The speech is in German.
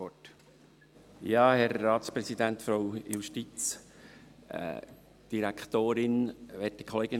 Ich gebe das Wort dem Mitmotionär Luc Mentha.